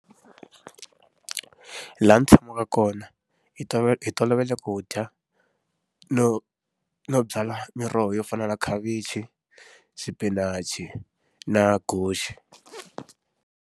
Laha ni tshamaka kona, hi tolo tolovele ku dya, no no byala miroho yo fana na khavichi, xipinachi na guxe.